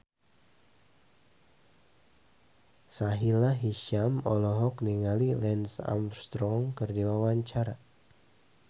Sahila Hisyam olohok ningali Lance Armstrong keur diwawancara